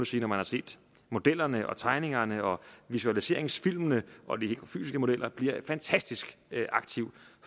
sige når man har set modellerne tegningerne visualiseringsfilmene og de fysiske modeller fantastisk aktiv